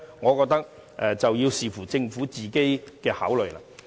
我認為要視乎政府的考慮。